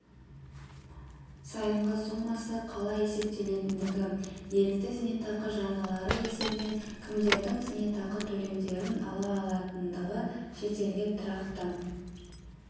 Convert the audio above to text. сайынғы сомасы қалай есептелетіндігі ерікті зейнетақы жарналары есебінен кімдердің зейнетақы төлемдерін ала алатындығы шетелге тұрақты